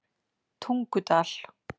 Tungudal